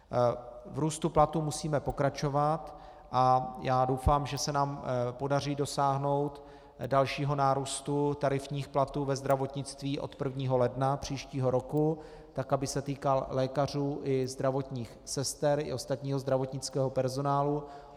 V růstu platů musíme pokračovat a já doufám, že se nám podaří dosáhnout dalšího nárůstu tarifních platů ve zdravotnictví od 1. ledna příštího roku tak, aby se týkal lékařů i zdravotních sester i ostatního zdravotnického personálu.